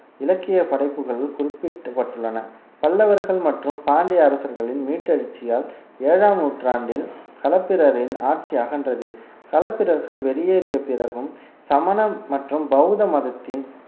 இலக்கிய படைப்புகளுள் குறிப்பிடப்பட்டுள்ளன பல்லவர்கள் மற்றும் பாண்டிய அரசர்களின் மீட்டெழுச்சியால் ஏழாம் நூற்றாண்டில் களப்பிரரின் ஆட்சி அகன்றது களப்பிரர்கள் வெளியேறிய பிறகும் சமண மற்றும் பௌத்த மதத்தின்